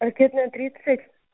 ракетная тридцать